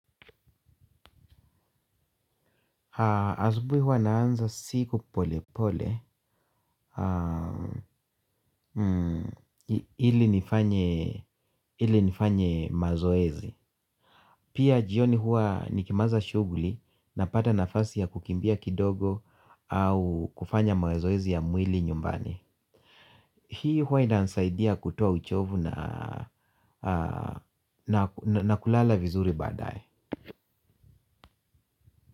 Azubui huwa naanza siku pole pole ili nifanye mazoezi. Pia jioni huwa nikimaliza shuguli napata nafasi ya kukimbia kidogo au kufanya mazoezi ya mwili nyumbani. Hii huwa inanisaidia kutoa uchovu na kulala vizuri badaye.